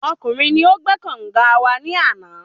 Ọkùnrin ni o gbé kànga wa ní àná